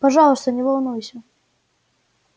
пожалуйста не волнуйся